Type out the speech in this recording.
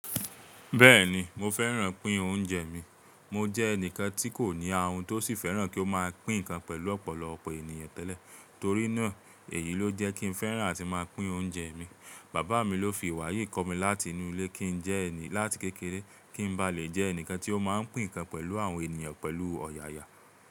Bẹ́ẹ̀ni mo fẹ́ràn pín oúnjẹ mi. Mo jẹ́ ẹnìkan tí kò ní ahun tó sì fẹ́ràn kí ó má a pín nǹkan pẹ̀lú ọ̀pọ̀lọpọ̀ ènìyàn tẹ́lẹ̀ torí náà èyí ló jẹ́ kí n fẹ́ràn àtí màá pín oúnjẹ mi. Bàbá mi ló fi ìwà yìí kọ́ mi láti inú ilé kí n jẹ́ láti kékeré kí n bá lè jẹ́ ẹnìkan tí ó máa ń pín nǹkan pẹ̀lú àwọn ènìyàn pẹ̀lú ọ̀yààyà.